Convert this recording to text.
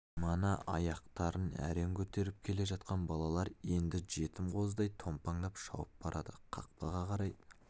мана аяқтарын әрең көтеріп келе жатқан балалар енді жетім қозыдай томпаңдап шауып барады қақпаға қарай